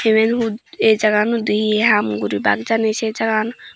eben aye jaga gan hudu he ham goribak jani say jagagan.